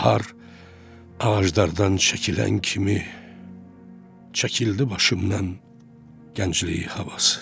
Bahar ağaclardan çəkilən kimi çəkildi başımdan gənclik havası.